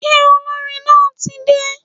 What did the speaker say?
Ṣé olórin náà tí dé?